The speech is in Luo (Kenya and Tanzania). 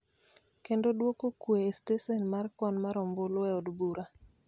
kendo duoko kue e stesen mar kwan mar ombulu e od bura.